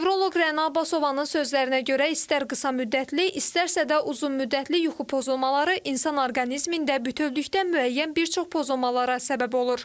Nevroloq Rəna Abbasovanın sözlərinə görə istər qısa müddətli, istərsə də uzunmüddətli yuxu pozulmaları insan orqanizmində bütövlükdə müəyyən bir çox pozulmalara səbəb olur.